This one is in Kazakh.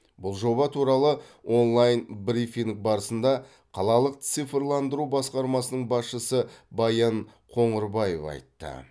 бұл жоба туралы онлайн брифинг барысында қалалық цифрландыру басқармасының басшысы баян қоңырбаев айтты